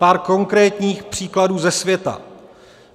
Pár konkrétních příkladů ze světa.